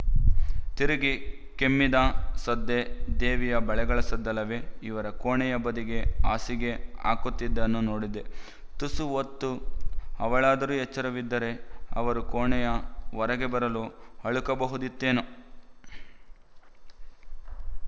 ತಿರುಗಿ ಕೆಮ್ಮಿದ ಸದ್ದೇ ದೇವಿಯ ಬಳೆಗಳ ಸದ್ದಲ್ಲವೇ ಇವರ ಕೋಣೆಯ ಬದಿಗೇ ಹಾಸಿಗೆ ಹಾಕುತ್ತಿದ್ದುದನ್ನು ನೋಡಿದ್ದೆ ತುಸು ಹೊತ್ತು ಅವಳಾದರೂ ಎಚ್ಚರವಿದ್ದರೆ ಅವರು ಕೋಣೆಯ ಹೊರಗೆ ಬರಲು ಅಳುಕಬಹುದಿತ್ತೇನೋ